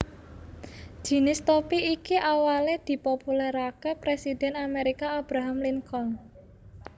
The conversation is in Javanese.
Jinis topi iki awale dipopulerakè presiden Amerika Abraham Lincoln